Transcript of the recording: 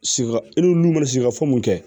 Sika n'u ma sikaso mun kɛ